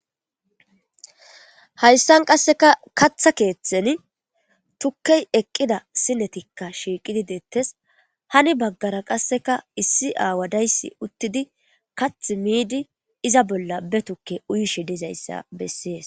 hayssan qasseka katha keeththen tukkey eqqida sinetikka shiiqidi deettes hani baggara qasseka issi aawa dayssi uttidi kath miidi iza bolla be tukke uyishe dizayssa bessees